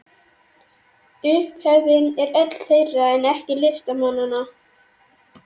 Upphefðin er öll þeirra, en ekki listamannanna.